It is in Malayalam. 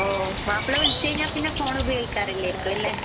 ഓഹ് മാപ്ല വിളിച്ചു കഴിഞ്ഞാൽ പിന്നെ ഫോൺ ഉപയോഗിക്കാറില്ലായിരിയ്ക്കും അല്ലെ